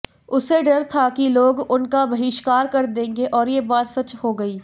उसे डर था कि लोग उनका बहिष्कार कर देंगे और ये बात सच हो गई